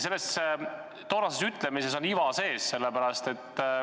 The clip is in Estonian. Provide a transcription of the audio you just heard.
Selles toonases ütlemises on iva sees.